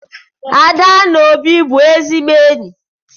Ada na Obi bụ ezigbo enyi.